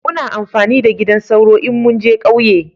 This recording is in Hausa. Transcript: Muna amfani da gidan sauro in mun je kauye